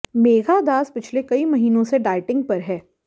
मेघा दास पिछले कई महीनों से डाइटिंग पर है